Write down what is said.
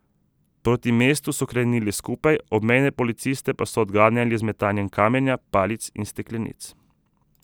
Proti mestu so krenili skupaj, obmejne policiste pa so odganjali z metanjem kamenja, palic in steklenic.